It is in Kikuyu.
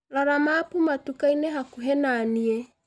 rora mabu matukainĩ hakũhi naniĩ